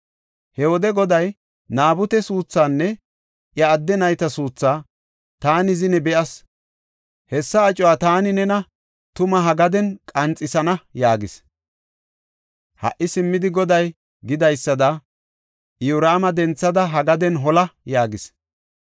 He wode Goday, ‘Naabute suuthaanne iya adde nayta suuthaa taani zine be7as; hessa acuwa taani nena tuma ha gaden qanxisana’ yaagis. Ha77i simmidi Goday gidaysada, Iyoraama denthada, ha gaden hola” yaagis.